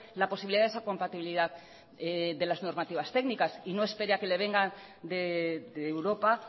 la posibilidad de esa compatibilidad de las normativas técnicas y no espere a que le venga de europa